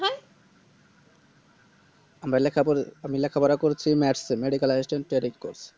আমরা লেখাপড়~ আমি লেখাপড়া করেছি Matc এ Medical Assistant Training Course